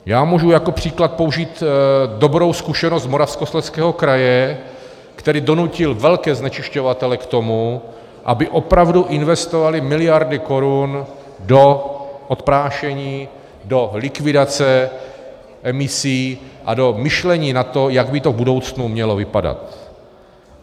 Já mohu jako příklad použít dobrou zkušenost z Moravskoslezského kraje, který donutil velké znečišťovatele k tomu, aby opravdu investovali miliardy korun do odprášení, do likvidace emisí a do myšlení na to, jak by to v budoucnu mělo vypadat.